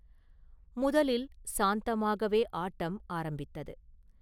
முதலில் சாந்தமாகவே ஆட்டம் ஆரம்பித்தது.